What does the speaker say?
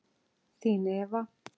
Þín Eva.